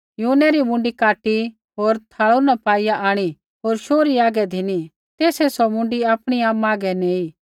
यूहन्नै री मुँडी काटी होर थाल़ू न पाईआ आंणी होर शोहरी हागै धिनी तेसै सौ मुँडी आपणी आमा हागै नैंई